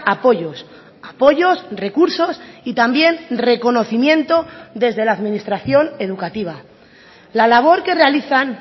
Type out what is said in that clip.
apoyos apoyos recursos y también reconocimiento desde la administración educativa la labor que realizan